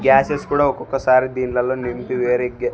gases కూడా ఒక్కొక్కసారి దీన్లలో నింపి --